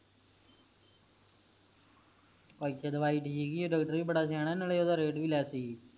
ਇਥੇ ਦਵਾਈ ਠੀਕ ਈ ਏ ਡਾਕਟਰ ਵੀ ਬੜਾ ਸਿਆਣਾ ਨਾਲੇ rate ਵੀ less ਈ